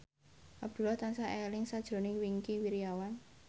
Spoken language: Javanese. Abdullah tansah eling sakjroning Wingky Wiryawan